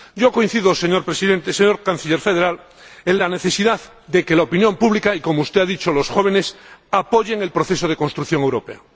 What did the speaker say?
Yo coincido, señor Canciller Federal, en la necesidad de que la opinión pública y, como usted ha dicho, los jóvenes, apoyen el proceso de construcción europea.